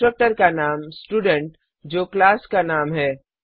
constructor का नाम student जो क्लास का नाम है